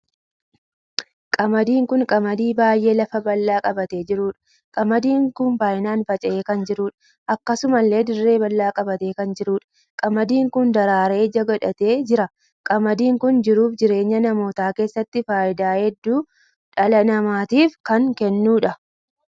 Qamaadiin kun qamadiin baay'ee lafa bal'aa qabatee jiruudha. qamaadiin kun baay'inaan faca'ee kan jiruudha. akkasumallee dirree bal'aa qabatee kan jiruudha. qamaadiin kun daraaree ija godhatee jira. qamaadiin kun jiruu fi jireenya namootaa keessatti faayidaa hedduu dhala namaatiif kan kennuudha.